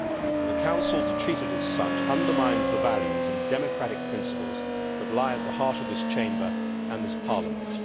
For the Council to treat it as such undermines the values and democratic principles that lie at the heart of this Chamber and this Parliament.